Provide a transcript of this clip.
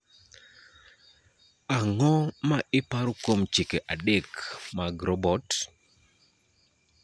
Ang�o ma iparo kuom chike adek mag robot?